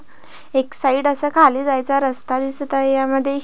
एक साइड असा खाली जायचा रस्ता दिसत आहे ह्यामध्ये--